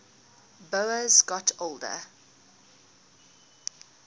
boas got older